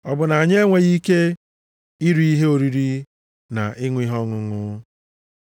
Ọ bụ na anyị enweghị ike iri ihe oriri na ịṅụ ihe ọṅụṅụ?